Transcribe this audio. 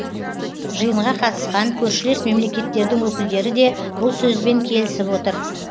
жиынға қатысқан көршілес мемлекеттердің өкілдері де бұл сөзбен келісіп отыр